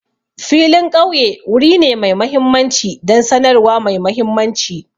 Filin ƙauye wuri ne mai mahimmanci don sanarwa mai mahimmanci.